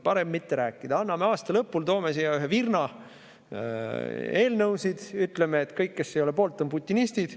Parem mitte rääkida, anname aasta lõpul, toome siia ühe virna eelnõusid ja ütleme, et kõik, kes ei ole poolt, on putinistid.